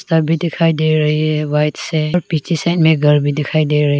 सभी दिखाई दे रही है व्हाइट से पीछे साइड में घर भी दिखाई दे रही --